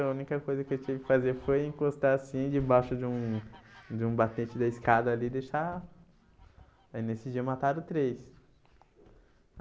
A única coisa que eu tive que fazer foi encostar assim debaixo de um de um batente da escada ali e deixar... Aí nesse dia mataram três.